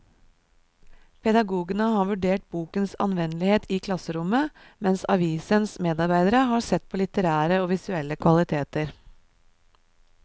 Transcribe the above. Pedagogene har vurdert bokens anvendelighet i klasserommet, mens avisens medarbeidere har sett på litterære og visuelle kvaliteter.